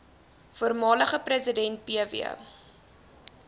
voormalige president pw